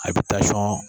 A bɛ